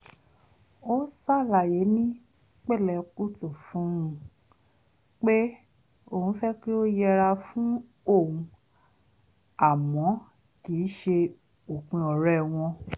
ó ṣàlàyé ní pẹ̀lẹ́kùtù fún un pé òun fẹ́ kí ó yẹra fún òun àmọ́ kìí ṣe òpin ọ̀rẹ́ wọn